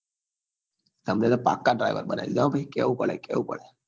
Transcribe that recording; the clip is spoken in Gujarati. તમને તો પાક્કા driver બનાઈ દીધા હો ભાઈ કેવું પડે કેવું પડે